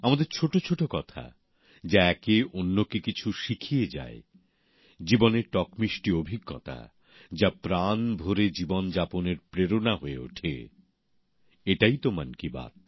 আমাদের ছোটছোট কথা যা একেঅন্যকে কিছু শিখিয়ে যায় জীবনের টকমিষ্টি অভিজ্ঞতা যা প্রাণ ভরে জীবন যাপনের প্রেরণা হয়ে ওঠে এটাই তো মন কি বাত